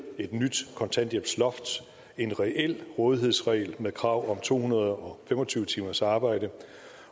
et nyt kontanthjælpsloft en reel rådighedsregel med krav om to hundrede og fem og tyve timers arbejde